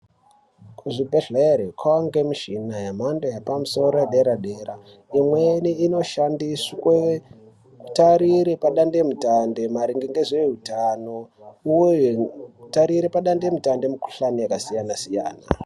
Kuzvibhedhlera kwava nemichina yemhando yepamusoro yepadera dera imweni inoshandiswe kutarire padande mutande maringe ngezveutano uye kutarire padande mutande mukuhlani yakasiyana siyana.